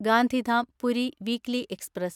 Gandhidham Puri weekly express